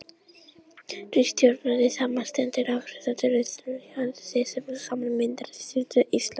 stjórnarráðið samanstendur af átta ráðuneytum og ráðherrum þess sem saman mynda ríkisstjórn íslands